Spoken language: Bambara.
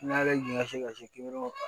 N'a jiginɛ ka se ki